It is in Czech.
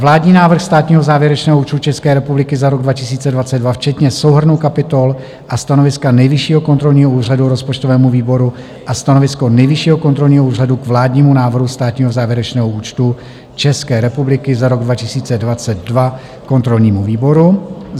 Vládní návrh státního závěrečného účtu České republiky za rok 2022 včetně souhrnu kapitol a stanoviska Nejvyššího kontrolního úřadu rozpočtovému výboru a stanovisko Nejvyššího kontrolního úřadu k vládnímu návrhu státního závěrečného účtu České republiky za rok 2022 kontrolnímu výboru;